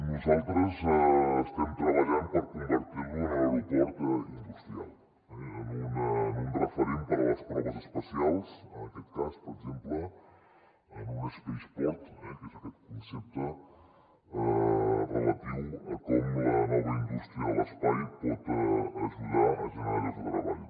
nosaltres estem treballant per convertir l’aeroport de lleida en un aeroport in·dustrial en un referent per a les proves espacials en aquest cas per exemple en un space port que és aquest concepte relatiu a com la nova indústria de l’espai pot aju·dar a generar llocs de treball